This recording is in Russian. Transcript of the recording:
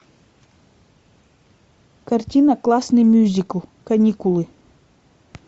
картина классный мюзикл каникулы